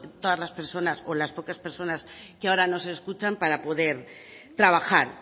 todas las personas o las pocas personas que ahora nos escuchan para poder trabajar